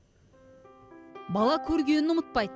бала көргенін ұмытпайды